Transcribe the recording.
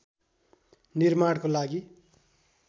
निर्माणको लागि